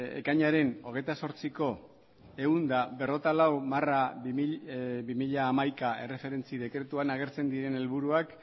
ekainaren hogeita zortziko ehun eta berrogeita lau barra bi mila hamaika erreferentzi dekretuan agertzen diren helburuak